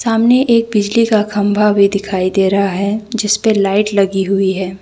सामने एक बिजली का खंभा भी दिखाई दे रहा है जिसपे लाइट लगी हुई है।